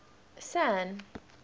san